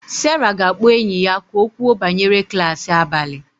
Sarah ga-akpọ enyi ya ka o kwuo banyere klas abalị